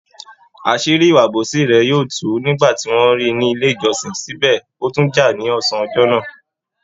Àṣírí ìwà àbòsí rẹ̀ tú nígbà ti wọ́n ríi ní ilé ìjọsìn, síbẹ̀ ó tún jà ní ọsán ọjọ́ náà.